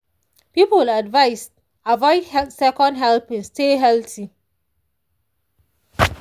people advised avoid second helpings stay healthy.